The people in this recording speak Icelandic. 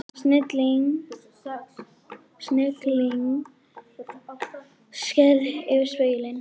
Snigillinn skreið yfir spegilinn.